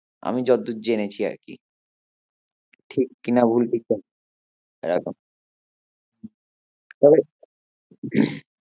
আমি যতদূর জেনেছি আরকি ঠিক কিনা ভুল